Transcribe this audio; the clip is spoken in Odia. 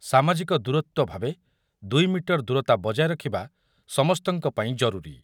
ସାମାଜିକ ଦୂରତ୍ୱ ଭାବେ ଦୁଇ ମିଟର ଦୂରତା ବଜାୟ ରଖିବା ସମସ୍ତଙ୍କ ପାଇଁ ଜରୁରୀ।